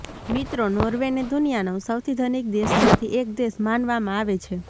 મિત્રો નોર્વેને દુનિયાનો સૌથી ધનિક દેશમાંથી એક દેશ માનવામાં આવે છે